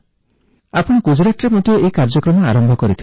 ଆପଣ ଗୁଜୁରାଟରେ ମଧ୍ୟ ଏହି କାର୍ଯ୍ୟ ଆରମ୍ଭ କରିଥିଲେ